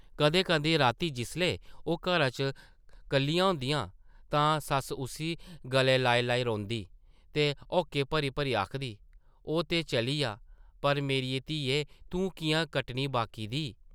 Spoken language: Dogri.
कदें-कदें रातीं जिसलै ओह् घरा च कल्लियां होंदियां तां सस्स उस्सी गलै लाई-लाई रोंदी ते हौके भरी-भरी आखदी, ‘‘ ओह् ते चली’आ, पर मेरिये धिये तूं किʼयां कट्टनी बाकी दी? ’’